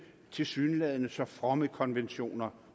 tilsyneladende så fromme konventioner